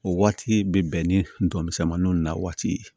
O waati bɛ bɛn ni ntɔmisɛnniw na waati ye